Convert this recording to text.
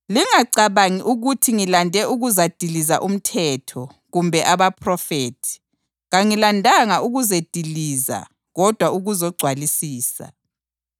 “Lingacabangi ukuthi ngilande ukuzadiliza uMthetho kumbe abaPhrofethi. Kangilandanga ukuzediliza kodwa ukuzogcwalisisa.